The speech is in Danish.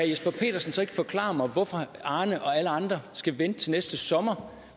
jesper petersen så ikke forklare mig hvorfor arne og alle andre skal vente til næste sommer